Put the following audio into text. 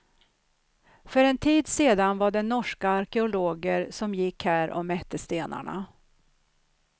För en tid sedan var det norska arkeologer som gick och här mätte stenarna.